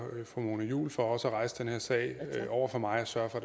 fru mona juul for også at rejse den her sag over for mig og at sørge